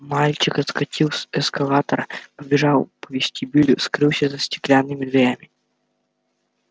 мальчик отскочил с эскалатора пробежал по вестибюлю скрылся за стеклянными дверями